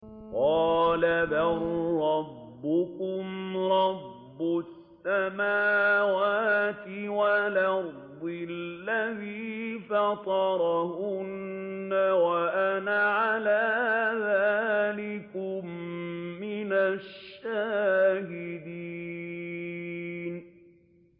قَالَ بَل رَّبُّكُمْ رَبُّ السَّمَاوَاتِ وَالْأَرْضِ الَّذِي فَطَرَهُنَّ وَأَنَا عَلَىٰ ذَٰلِكُم مِّنَ الشَّاهِدِينَ